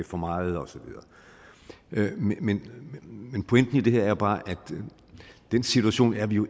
for meget osv men men pointen i det her er bare at den situation er vi jo